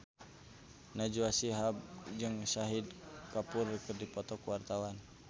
Najwa Shihab jeung Shahid Kapoor keur dipoto ku wartawan